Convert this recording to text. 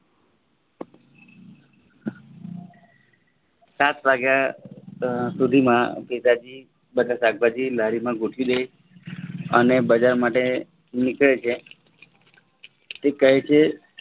સાત વાગ્યા સુધીમાં પિતાજી બધા શાકભાજી લારીમાં ગોઠવી દઈ અને બજાર માટે નીકળે છે અને તે કહે છે